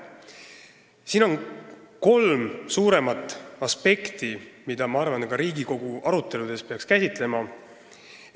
Siin on kolm suuremat aspekti, mida peaks minu arvates ka Riigikogu aruteludes käsitlema.